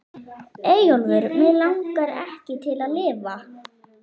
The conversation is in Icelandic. Eyjólfur Mig langaði ekki til að lifa.